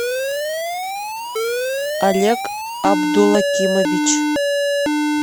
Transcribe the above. олег абдулакимович